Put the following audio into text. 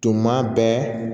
Tuma bɛɛ